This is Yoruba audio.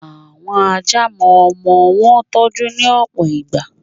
Àwọn Ajá mo ọmọ wọn tọ́jú, ní òpò ìgbà.